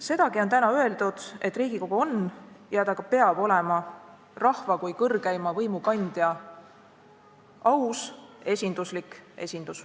Sedagi on täna öeldud, et Riigikogu on ja peabki olema rahva kui kõrgeima võimu kandja – aus ja esinduslik.